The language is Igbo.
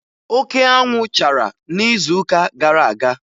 Oke anwụ chara n'izuụka gara aga